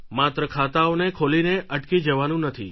માત્ર ખાતાઓને ખોલીને અટકી જવાનું નથી